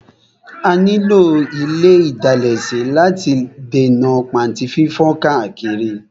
A ní lò ile ìdalẹ̀ sí láti lè dènà pàntí fífán káàkiri.